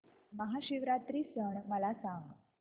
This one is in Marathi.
महाशिवरात्री सण मला सांग